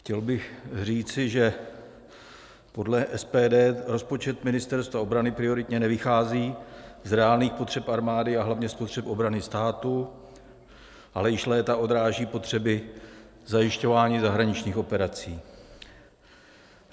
Chtěl bych říci, že podle SPD rozpočet Ministerstva obrany prioritně nevychází z reálných potřeb armády a hlavně z potřeb obrany státu, ale již léta odráží potřeby zajišťování zahraničních operací.